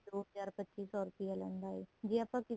ਦੋ ਹਜ਼ਾਰ ਪੱਚੀ ਸੋ ਰੁਪਇਆ ਲੈਂਦਾ ਏ ਜੇ ਆਪਾਂ ਕਿਸੇ ਤੋਂ